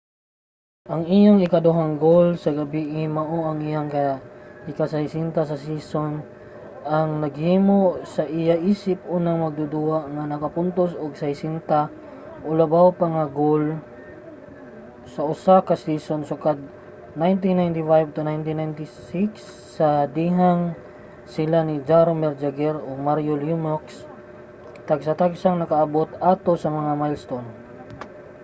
ang iyang ikaduhang goal sa gabie mao ang iyang ika-60 sa season ang naghimo sa iya isip unang magduduwa nga nakapuntos og 60 o labaw pa nga mga goal sa usa ka season sukad 1995-96 sa dihang sila si jaromir jagr ug mario lemieux tagsa-tagsang nakaabot ato nga milestone